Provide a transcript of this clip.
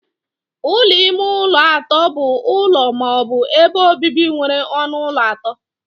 Ụlọ ime ụlọ atọ bụ ụlọ ma ọ bụ ebe obibi nwere ọnụ ụlọ atọ.